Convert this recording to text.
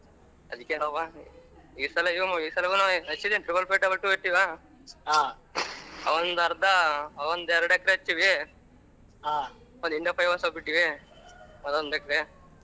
ಅದಿಕ್ಕೆನವ್ವ ಈ ಸಲ ಈ ಸಲಾಗುನು ಹಚ್ಚಿದಿನಿ ಅದೊಂದರ್ದ ಒಂದೇರಡೇಕರೆ ಹಚ್ಚಿವಿ ಇನ್ಸ್ವಲ್ಪ ಬಿಟ್ಟಿವಿ ಅದೋಂದೆಕ್ರೆ